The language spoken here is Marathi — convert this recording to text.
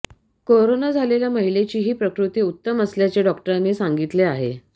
कोरोना झालेल्या महिलेचीही प्रकृती उत्तम असल्याचे डॉक्टरांनी सांगितले आहे